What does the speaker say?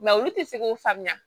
olu tɛ se k'o faamuya